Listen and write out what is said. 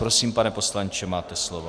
Prosím, pane poslanče, máte slovo.